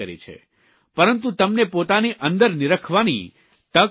પરંતુ તમને પોતાની અંદર નીરખવાની તક પણ આપી છે